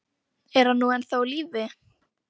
Er hann nú ennþá á lífi?